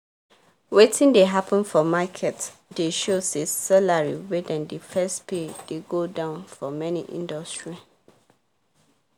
wetin dey happen for market dey show say salary wey dem dey first pay dey go down for many industry